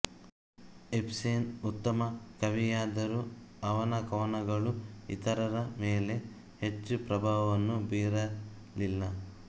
Ibsen ಉತ್ತಮ ಕವಿಯಾದರೂ ಅವನ ಕವನಗಳು ಇತರರ ಮೇಲೆ ಹೆಚ್ಚು ಪ್ರಭಾವವನ್ನು ಬೀರಲಿಲ್ಲ